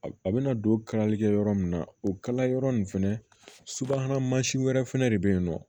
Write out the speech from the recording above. A bɛna don kalalikɛ yɔrɔ min na o kalayɔrɔ ninnu fɛnɛ subahana mansinw wɛrɛ fɛnɛ de bɛ yen nɔ